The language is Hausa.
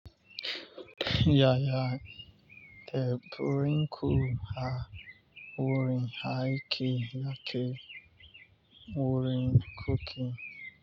Yaya, teburin ku a wurin aike yake wurin cooking.